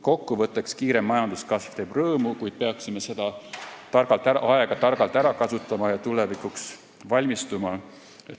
Kokku võttes, kiire majanduskasv teeb rõõmu, kuid peaksime seda aega targalt ära kasutama ja tulevikuks valmistuma.